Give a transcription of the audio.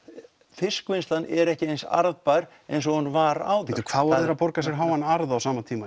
fiskvinnslan er ekki eins arðbær eins og hún var áður bíddu hvað voru þeir að borga sér háan arð á sama tíma